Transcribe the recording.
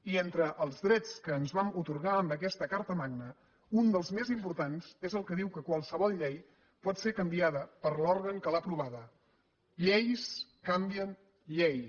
i entre els drets que ens vam atorgar amb aquesta carta magna un dels més importants és el que diu que qualsevol llei pot ser canviada per l’òrgan que l’ha aprovada lleis canvien lleis